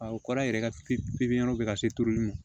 A o kɔrɔ a yɛrɛ ka pipiniyɛri bɛ ka se turuli ma